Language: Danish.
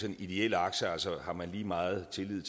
en ideel akse altså har man lige meget tillid